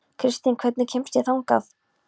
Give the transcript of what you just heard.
Kristin, hvernig kemst ég þangað?